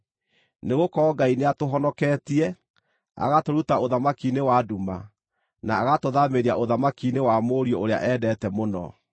Nĩgũkorwo Ngai nĩatũhonoketie, agatũruta ũthamaki-inĩ wa nduma, na agatũthaamĩria ũthamaki-inĩ wa Mũriũ ũrĩa endete mũno,